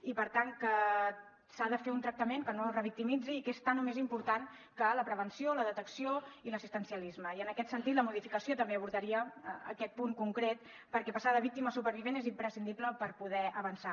i per tant que s’ha de fer un tractament que no revictimitzi i que és tant o més important que la prevenció la detecció i l’assistencialisme i en aquest sentit la modificació també abordaria aquest punt concret perquè passar de víctima a supervivent és imprescindible per poder avançar